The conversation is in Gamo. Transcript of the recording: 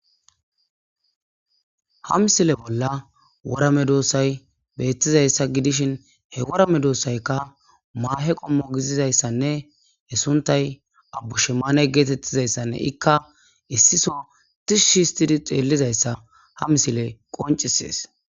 Ha misile bolla worame doossay beettizayssa gidishin he worame doossaykka maahe qommo gizizayssanne he suntay abbu shemane geetettizayssanne ikka issiso tishshi histidi xeellizayssa ha misile qoncisees.